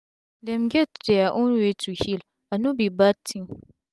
dem get dia own way to heal and no be bad tin